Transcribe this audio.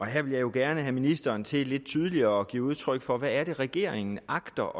her vil jeg jo gerne have ministeren til lidt tydeligere at give udtryk for hvad det er regeringen agter